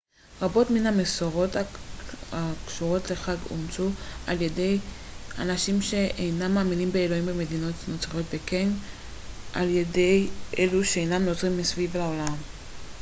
רבות מן המסורות הקשורות לחג אומצו על ידי אנשים שאינם מאמינים באלוהים במדינות נוצריות וכן על ידי אלו שאינם נוצרים מסביב לעולם